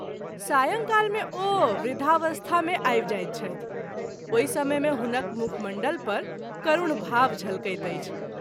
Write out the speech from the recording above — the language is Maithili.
सायंकाल मे ओ वृद्धावस्था मे आवि जाइत छथि , ओहि समय मे हुनक मुखमण्डल पर करूण भाव झलकैत अछि।